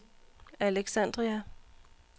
Alexandria